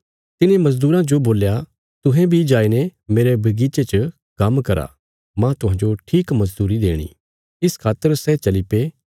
तिने मजदूरां जो बोल्या तुहें बी जाईने मेरे बगीचे च काम्म करा मांह तुहांजो ठीक मजदूरी देणी इस खातर सै चलीपे